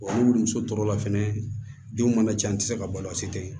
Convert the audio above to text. ni woloso tɔrɔ la fɛnɛ denw mana ca an tɛ se ka balo a si tɛ yen